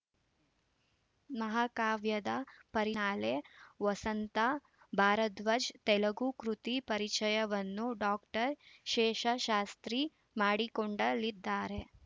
ಮಹಾಕಾವ್ಯದ ಪರಿನಾಲೆ ವಸಂತ ಭಾರದ್ವಾಜ್‌ ತೆಲುಗು ಕೃತಿ ಪರಿಚಯವನ್ನು ಡಾಕ್ಟರ್ ಶೇಷಶಾಸ್ತ್ರಿ ಮಾಡಿಕೊಂಡಲಿದ್ದಾರೆ